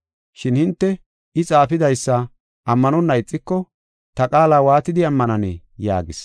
Shin hinte I xaafidaysa ammanonna ixiko ta qaala waatidi ammananee?” yaagis.